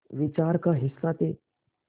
विचार का हिस्सा थे